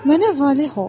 Mənə valeh ol.